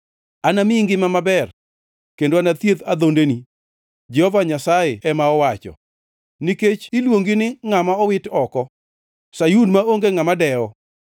Anamiyi ngima maber kendo anathiedh adhondeni,’ Jehova Nyasaye ema owacho, ‘nikech iluongi ni ngʼama owit oko, Sayun maonge ngʼama dewo.’